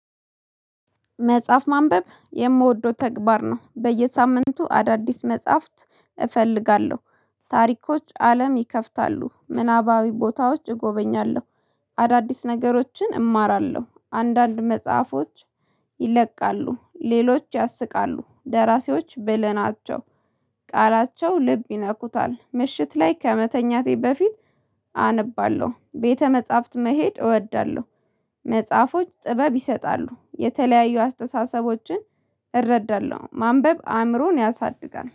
መጽሐፍ ማንበብ የምወደው ተግባር ነው። በየሳምንቱ አዳዲስ መጽሐፍት እፈልጋለሁ። ታሪኮች አለም ይከፍታሉ፤ ምናባዊ ቦታዎች እጎበኛለሁ አዳዲስ ነገሮችን እማራለሁ፤ አንዳንድ መጽሐፎች ይለቃሉ፤ ሌሎች ያስቃሉ፤ ደራሲዎች ብለናቸው። ቃላቸው ልብ ይነኩታል፤ ምሽት ላይ ከመተኛቴ በፊት አነባለሁ ቤተ መጽሐፍት መሄድ እወዳለሁ። መጽሐፎች ጥበብ ይሰጣሉ የተለያዩ አስተሳሰቦችን እረዳለሁ ማንበብ አእምሮን ያሳድጋል።